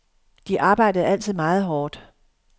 De arbejdede altid meget hårdt.